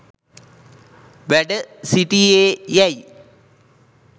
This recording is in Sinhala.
වැඩ සිටියේ යැයි